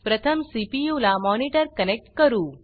प्रथम सीपीयू ला monitor connect करू